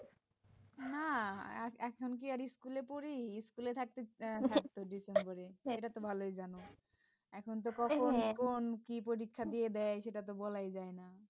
না এখন কি আর school পড়ি school থাকতে থাকতো december এটা তো ভালই জানো এখন তো কখন কোন কি পরীক্ষা দিয়ে দেয় সেটা তো বলাই যায়না